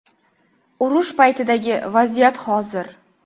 Urush paytidagi vaziyat hozir.